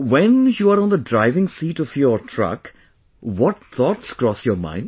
When you are on the driving seat of your truck, what thoughts cross your mind